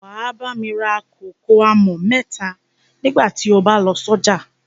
Wà á bá mi rà kòkò àmọ̀ mẹ́ta nígbà tí ó bá lọ sọ́jà.